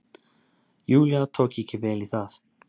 Júlía tók ekki vel í það.